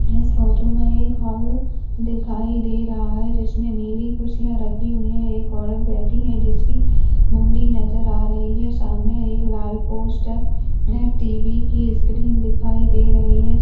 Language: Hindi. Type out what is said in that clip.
इस फोटो में एक हॉल दिखाई दे रहा है जिसमे नीली कुर्सियां रखी हुई है एक औरत जिसकी मुंडी नज़र आ रही है एक लाल पोस्टर टीवी की स्क्रीन दिखाई दे रही है।